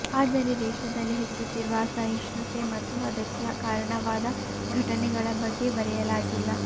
ಆದರೆ ದೇಶದಲ್ಲಿ ಹೆಚ್ಚುತ್ತಿರುವ ಅಸಹಿಷ್ಣುತೆ ಮತ್ತು ಅದಕ್ಕೆ ಕಾರಣವಾದ ಘಟನೆಗಳ ಬಗ್ಗೆ ಬರೆಯಲಾಗಿಲ್ಲ